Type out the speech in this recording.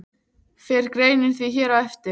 Fer greinin því hér á eftir.